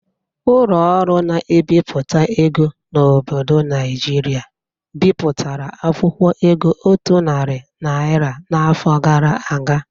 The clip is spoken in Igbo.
Ụlọ ọrụ na-ebipụta ego n'obodo Naijiria bịpụtara akwụkwọ ego otu nari naira n'afọ gara aga